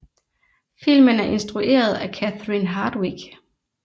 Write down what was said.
Filmen er instrueret af Catherine Hardwicke